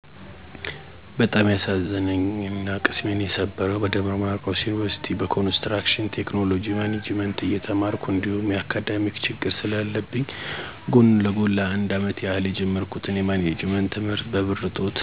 በጣም ያሳዘነኝና ቅስሜን የሰበረው በደብረማርቆስ ዩኒቭርሲቲ በኮንስትራክሽን ቴክኖሎጅ ማኔጅመንት እየተማርሁ እንዲሁም የአካዳሜክ ችግር ስለለብኝ ጎን ለጎን ለ፩አመት ያህል የጀመርሁትን የማኔጅመንት ት/ት በብር እጦት ት/ቴን እንዳቋርጥ አድርጎኛል። ከዩኒቭርስሲቲ ቆይታ በኋላ የቀን ስራ እየሰራሁ ት/ቱን ጨርሸዋለሁ።